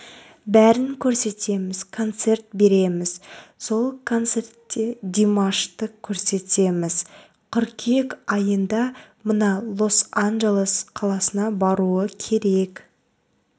бәрін көрсетеміз концерт береміз сол концертте димашты көрсетеміз қыркүйек айында мына лос-анджелес қаласына баруы керек